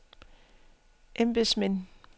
embedsmænd